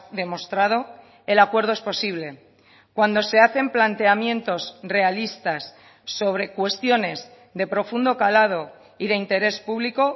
demostrado el acuerdo es posible cuando se hacen planteamientos realistas sobre cuestiones de profundo calado y de interés público